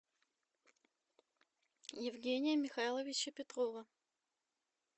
евгения михайловича петрова